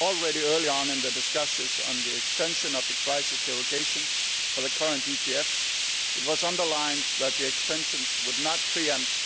Already, early on in the discussions on the extension of the crisis derogation for the current EGF, it was underlined that the extensions would not pre empt